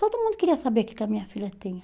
Todo mundo queria saber o que que a minha filha tinha.